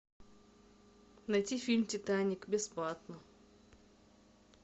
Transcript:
найти фильм титаник бесплатно